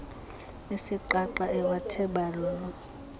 isiqaqa ewathe balulu